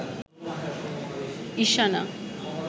Ishana